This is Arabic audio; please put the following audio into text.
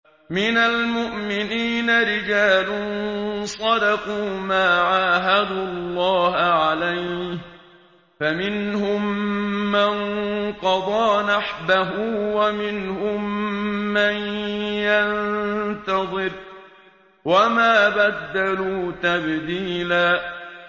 مِّنَ الْمُؤْمِنِينَ رِجَالٌ صَدَقُوا مَا عَاهَدُوا اللَّهَ عَلَيْهِ ۖ فَمِنْهُم مَّن قَضَىٰ نَحْبَهُ وَمِنْهُم مَّن يَنتَظِرُ ۖ وَمَا بَدَّلُوا تَبْدِيلًا